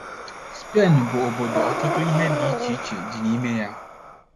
SPEN bụ obodo ọtụtụ ihe dị iche iche dị n’ime ya.